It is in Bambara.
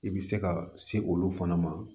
I bɛ se ka se olu fana ma